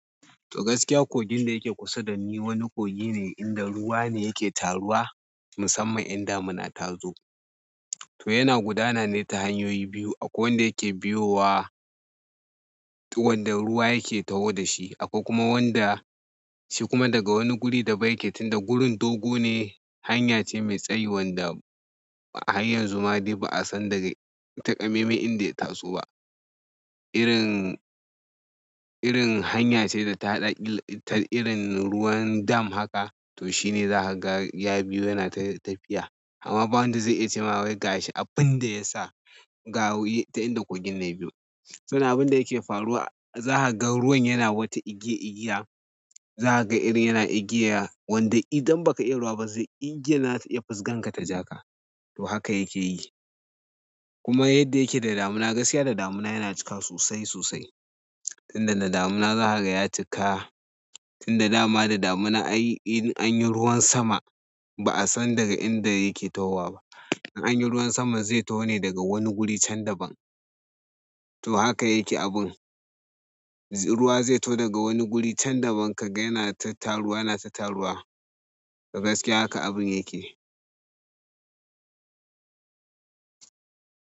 To gaskiya kogin da yake kusa da ni wani kogi ne inda ruwa ne yake taruwa musamman in damuna ta zo. To yana gudana ne ta hanyoyi biyu. Akwai wanda yake biyowa wanda ruwa yake taho da shi. Akwai kuma wanda shi kuma daga wani guri daban yake tun da gurin dogo ne, hanya ce mai tsayi wanda a har ƴan zuma dai ba'a san daga takamaiman inda ya taso ba. Irin, irin hanya ce da ta haɗa irin ruwan dam haka to shine za ka ga ya biyu yana tafiya. Amma ba wanda zai iya cewa wai gashi abin da ya sa gawi ta inda kogin nan ya biyo. Abin da yake faruwa za ka ga ruwan yana wata igiya igiya. Za ka ga irin yana igiya wanda idan ba ka iya ruwa ba zai igiyan za ta iya fisganka ta ja ka. To haka yake yi. Kuma yadda yake da damina gaskiya da damina yana cika sosai sosai. Tun da na damina za ka ga ya cika. Tun da dama da damina in anyi ruwan sama ba'a san daga inda yake tahowa ba. In anyi ruwan sama zai taho ne daga wani guri can da ban. To haka yake abun. Ruwa zai taho daga wani guri can da ban ka ga yana ta taruwa, yana ta taruwa. Gaskiya haka abun yake.